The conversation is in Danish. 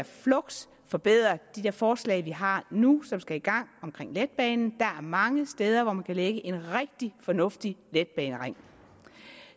fluks forbedre de der forslag vi har nu og som skal i gang omkring letbanen der er mange steder hvor man kan lægge en rigtig fornuftig letbanering